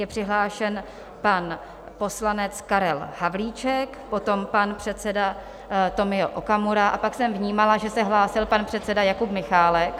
Je přihlášen pan poslanec Karel Havlíček, potom pan předseda Tomio Okamura a pak jsem vnímala, že se hlásil pan předseda Jakub Michálek.